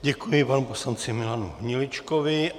Děkuji panu poslanci Milanu Hniličkovi.